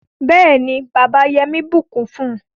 béèni bàbà Yemi bukún fún